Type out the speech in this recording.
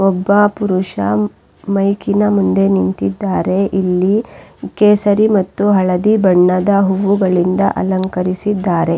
ಈ ಚಿತ್ರದಲ್ಲಿ ಒಂದು ಕಾರ್ಯಕ್ರಮ ನಡೆಯುತ್ತಿರುವುದನ್ನು ನೋಡಬಹುದು ಇಲ್ಲಿ ಕೆಲ ಕೆಲವು ಪುರುಷರು ನಿಂತಿದ್ದಾರೆ.